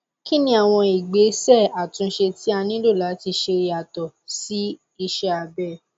kí ni àwọn ìgbésẹ àtúnṣe tí a nílò láti ṣe yàtọ sí iṣẹ abẹ